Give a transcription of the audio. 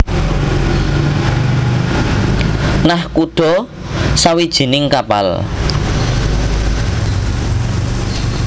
Nakhoda sawijining kapal